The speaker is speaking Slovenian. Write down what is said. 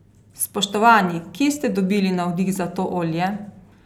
Spoštovani, kje ste dobili navdih za to olje?